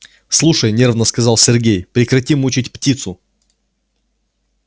слушай нервно сказал сергей прекрати мучить птицу